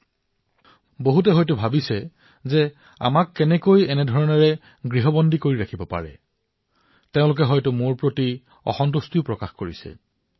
হবও পাৰে বহু লোকে মোৰ ওপৰত খং কৰি আছে যে এনেয়ে কিদৰে সকলোকে ঘৰত বন্ধ হৈ থাকিবলৈ দিব পাৰে